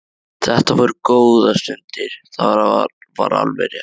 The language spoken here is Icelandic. Þetta voru góðar stundir, það var alveg rétt.